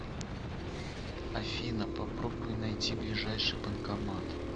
афина попробуй найти ближайший банкомат